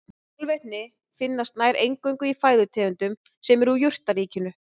Fosfór binst fastur og niðursig hans í grunnvatn er afar lítið.